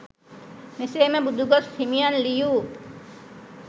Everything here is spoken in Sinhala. මෙසේම බුදුගොස් හිමියන් ලියූ